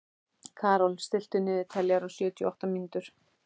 Karol, stilltu niðurteljara á sjötíu og átta mínútur.